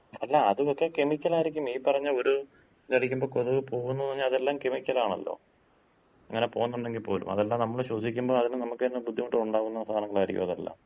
അല്ല, അത് മൊത്തം കെമിക്കലായിരിക്കും. ഈ പറഞ്ഞ ഒര് ഇത് അടിക്കുമ്പോ കൊതുക് പോകുന്നൂന്ന് പറഞ്ഞാ, അതെല്ലാം കെമിക്കലാണല്ലോ. അങ്ങനെ പോകുന്നൊണ്ടങ്കി പോലും. അതല്ലാം നമ്മള് ശ്വസിക്കുമ്പോ അതിന് നമുക്ക് തന്ന ബുദ്ധിമുട്ടൊണ്ടാകുന്ന സാധനങ്ങളായിരിക്കും അതെല്ലാം.